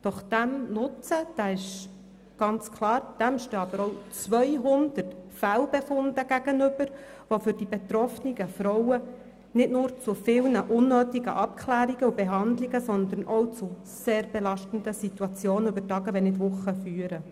Doch diesem Nutzen stehen auch 200 Fehlbefunde gegenüber, die für die betroffenen Frauen nicht nur zu vielen unnötigen Abklärungen und Behandlungen sondern auch zu sehr belastenden Situationen über Tage, wenn nicht Wochen hinweg führen.